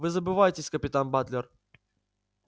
вы забываетесь капитан батлер